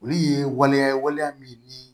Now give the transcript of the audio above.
Olu ye waleya ye waleya min ni